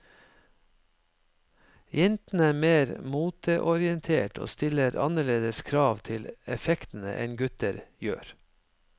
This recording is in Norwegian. Jentene er mer moteorientert og stiller annerledes krav til effektene enn gutter gjør.